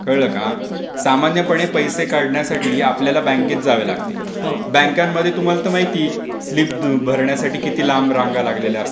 कळलं काय? सामान्यपणे पैसे काढण्यासाठी आपल्याला बँकेत जावं लागते. बँकांमध्ये तुम्हाला तर माहितीए स्लीप भरण्यासाठी किती लांब रांगा लागलेल्या असतात.